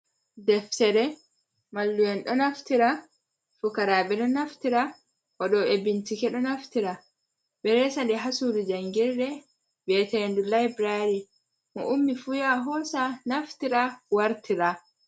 Deftere, mallu'en ɗo naftira, fukaraaɓe ɗo naftira, waɗoɓe bincike ɗo naftira. Ɓe resa ɗum ha sudu jangirde mbiyete ndu laibrari. Mo ummi fu yaha hoosa, naftira, wartira.